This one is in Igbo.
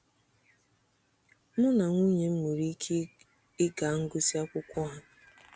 Mụ na nwunye m nwere ike ịga ngụsị akwụkwọ ha.